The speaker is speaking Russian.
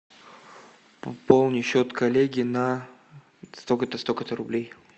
пополни счет коллеги на столько то столько то рублей